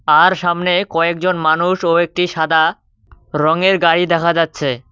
আর সামনে কয়েকজন মানুষ ও একটি সাদা রংয়ের গাড়ি দেখা যাচ্ছে।